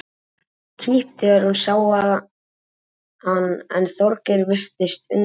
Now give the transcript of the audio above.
Gerður tók kipp þegar hún sá hann en Þorgeir virtist undrandi.